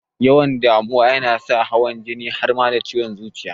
Yawan damuwa kan sa hawan jini har ma da ciwon zuciya